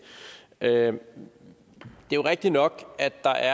er jo rigtig nok at der